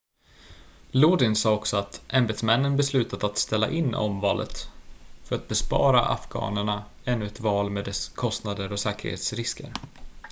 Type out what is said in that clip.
lodin sade också att ämbetsmännen beslutat att ställa in omvalet för att bespara afghanerna ännu ett val med dess kostnader och säkerhetsrisker